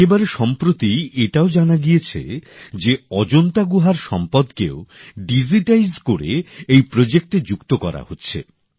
একেবারে সম্প্রতি এটাও জানা গিয়েছে যে অজন্তা গুহার সম্পদকেও ডিজিটাইজ করে এই প্রজেক্টে যুক্ত করা হচ্ছে